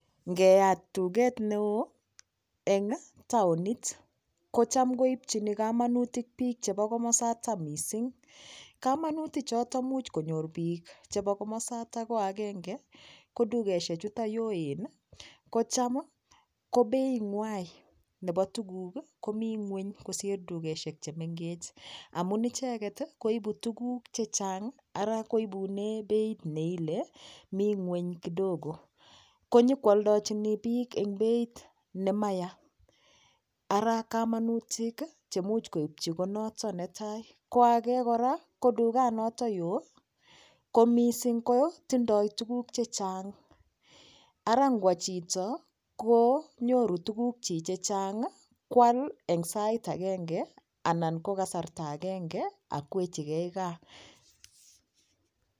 Ngeyat tuget neo eng' taonit kocham koibchini kamanutik biik chebo komosatak mising kamanuti choto much konyor biik chebo komosata ko agenge ko tugeshechuto yoen kocham ko being'wai nebo tukuk komi ng'weny kosir tugeshek chemengech amun icheget koibu tukuk chechang' ara koibune beit neile mi ng'weny kidogo konyikooldochini biik eng' beit nemaya ara kamanutik chemuch koib konoto netai ko age kora ko tuganoto yoo ko mising' kotindoi tukuk chechang' ara ngwo chito konyoru tukuk chi chechang' kwal eng'sait agenge anan ko kasarta agenge akwechigei kaa.